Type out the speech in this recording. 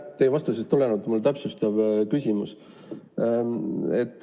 Teie vastusest tulenevalt mul on täpsustav küsimus.